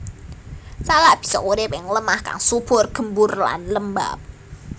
Salak bisa urip ing lemah kang subur gembur lan lembab